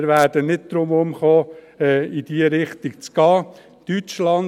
Wir werden nicht darum herumkommen, in diese Richtung zu gehen.